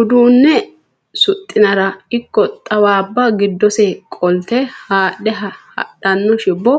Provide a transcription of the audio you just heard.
Uduune suxinara ikko xawabba giddose qolte haadhe hadhano shiwo